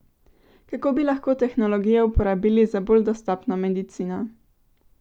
Kako bi lahko tehnologijo uporabili za bolj dostopno medicino?